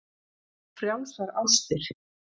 Frjálsar ástir.